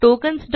tokens